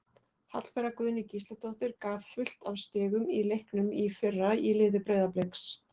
Hallbera Guðný Gísladóttir gaf fullt af stigum í leiknum í fyrra í liði Breiðabliks.